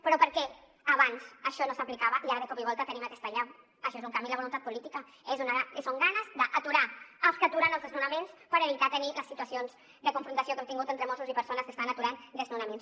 però per què abans això no s’aplicava i ara de cop i volta tenim aquesta allau això és un canvi en la voluntat política són ganes d’aturar els que aturen els desnonaments per evitar tenir les situacions de confrontació que hem tingut entre mossos i persones que estan aturant desnonaments